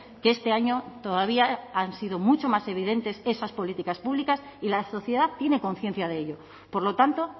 que este año todavía han sido mucho más evidentes esas políticas públicas y la sociedad tiene conciencia de ello por lo tanto